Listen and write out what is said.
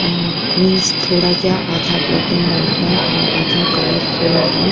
आह means थोड़ा क्या आधा ब्लैक एंड व्हाइट है और आधा कलरफुल है।